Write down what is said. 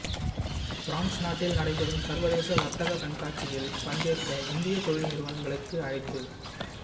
France நாட்டில் நடைபெறும் சர்வதேச வர்த்தக கண்காட்சியில் பங்கேற்க இந்திய தொழில் நிறுவனங்களுக்கு அழைப்பு